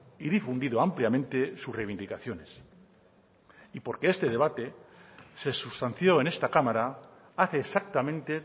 y difundido ampliamente sus reivindicaciones y porque este debate se sustanció en esta cámara hace exactamente